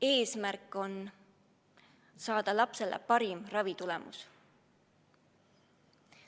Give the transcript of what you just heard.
Eesmärk on saada lapsele parim ravitulemus.